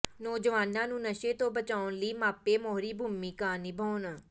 ਨੌਜਵਾਨਾਂ ਨੂੰ ਨਸ਼ੇ ਤੋਂ ਬਚਾਉਣ ਲਈ ਮਾਪੇ ਮੋਹਰੀ ਭੂਮਿਕਾ ਨਿਭਾਉਣ